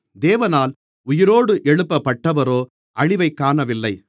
தேவனால் உயிரோடு எழுப்பப்பட்டவரோ அழிவைக் காணவில்லை